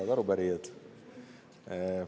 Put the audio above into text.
Head arupärijad!